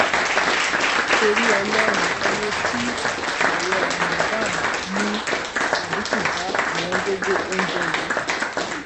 torí ọlọrun ẹ wo tí ààwẹ ramaddan ẹ mú àdínkù bá ọwọngọgọ oúnjẹ yìí